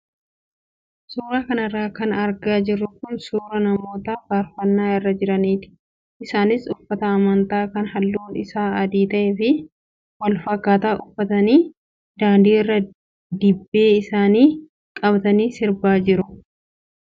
Suuraa kanarra kan argaa jirru kun suuraa namoota faarafannaa irra jiraniiti. Isaanis uffata amantaa kan halluun isaa adii ta'ee fi wal fakkaataa uffatanii daandii irra dibbee isaanii qabatanii sirbaa jiru.